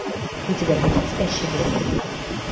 у тебя будет спящий город